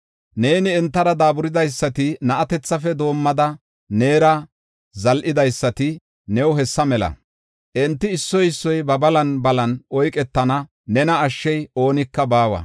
Neeni entara daaburidaysati, na7atethafe doomidi neera zal7idaysati new hessa mela. Enti issoy issoy ba balan balan oyketana; nena ashshiya oonika baawa.”